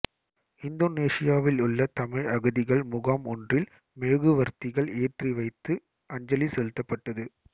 இந்தோனேசியாவிலுள்ள தமிழ் அகதிகள் முகாம் ஒன்றில் மெழுகுவர்த்திகள் ஏற்றி வைத்து அஞ்சலி செலுத்தப்பட்டது